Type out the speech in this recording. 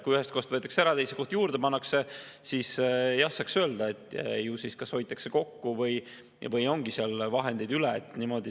Kui ühest kohast võetakse ära ja teise kohta pannakse juurde, siis jah saaks öelda, et ju siis kas hoitakse kokku või ongi seal vahendeid üle.